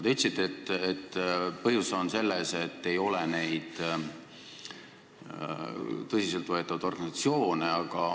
Te ütlesite, et põhjus on selles, et ei ole tõsiselt võetavaid organisatsioone.